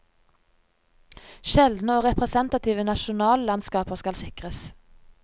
Sjeldne og representative nasjonallandskaper skal sikres.